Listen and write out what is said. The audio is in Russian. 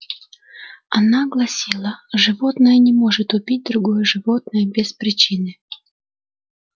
она гласила животное не может убить другое животное без причины